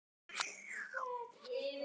Ég elskaði þau.